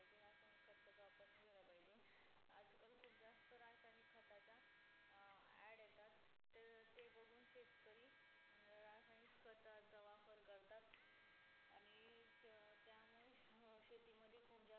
रासायनिक खताचा वापर नही केला पाहिजे आजकाल खुप जास्त रासायनिक खताच्या अं add येतात तर ते बगुन शेतकरी अं रासायनिक खताचा वापर करतात आणि अं त्यामुळेच नऊशे तीन मध्ये खूप जास्त